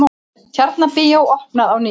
Tjarnarbíó opnað á ný